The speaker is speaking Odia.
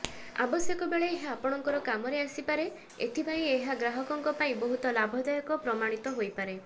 ଆବଶ୍ୟକ ବେଳେ ଏହା ଆପଣଙ୍କର କାମରେ ଆସିପାରେ ଏଥିପାଇଁ ଏହା ଗ୍ରାହକଙ୍କ ପାଇଁ ବହୁତ ଲାଭଦାୟକ ପ୍ରମାଣିତ ହୋଇପାରେ